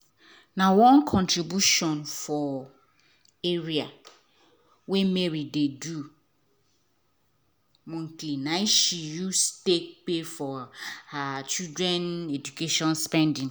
na one contribution for area wey mary dey do monthly nai she use take pay for um her children education spendings.